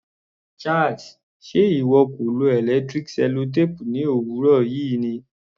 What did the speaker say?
Charles, ṣe ìwọ kò lo electric sellotape ní òwúrọ̀ yìí ni?